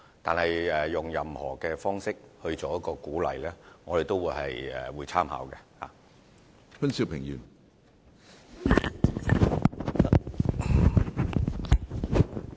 但是，對於採用何種方式給予鼓勵，我們也是樂意參考的。